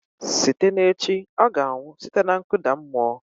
Site na echi ọ ga-anwụ site na nkụda mmụọ